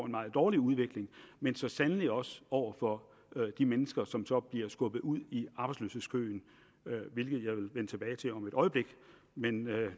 meget dårlig udvikling men så sandelig også over for de mennesker som så bliver skubbet ud i arbejdsløshedskøen hvilket jeg vil vende tilbage til om et øjeblik men